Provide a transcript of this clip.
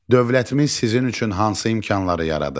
Dövlətimiz sizin üçün hansı imkanları yaradıb?